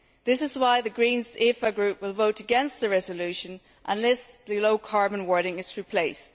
This is why the Green EFA Group will vote against the resolution unless the low carbon wording is replaced.